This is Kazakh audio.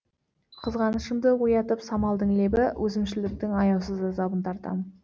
қызғанышымды оятып самалдың лебі өзімшілдіктің аяусыз азабын тартам